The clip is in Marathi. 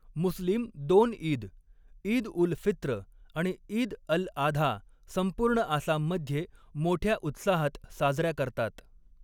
मुस्लीम दोन ईद, ईद उल फित्र आणि ईद अल आधा संपूर्ण आसाममध्ये मोठ्या उत्साहात साजऱ्या करतात.